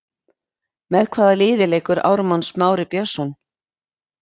Með hvaða liði leikur Ármann Smái Björnsson?